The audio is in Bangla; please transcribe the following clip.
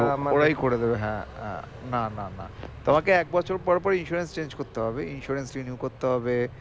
ওরাই করে দেবে হ্যাঁ আহ না না না তোমাকে এক বছর পর পর insurance change করতে হবে insurance renew করতে হবে